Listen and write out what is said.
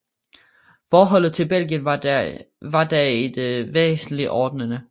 Forholdene til Belgien var da i det væsentlige ordnede